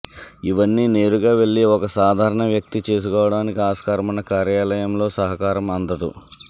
ఇవన్నీ నేరుగా వెళ్లి ఒక సాధారణ వ్యక్తి చేసుకోవడానికి ఆస్కారమున్నా కార్యాలయంలో సహకారం అందదు